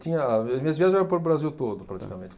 Tinha, minhas viagens eram para o Brasil todo, praticamente.